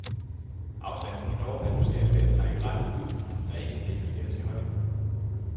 Afstanden kan dog reduceres ved at trække rattet ud, der ikke kan justeres i højden.